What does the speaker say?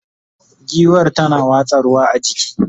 giwar tana watsa ruwa a jiki